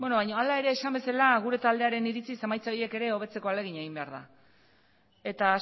hala ere esan bezala gure taldearen iritziz emaitza horiek ere hobetzeko ahalegina egin behar da eta